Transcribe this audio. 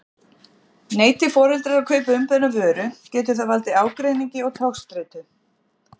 Neiti foreldrar að kaupa umbeðna vöru getur það valdið ágreiningi og togstreitu.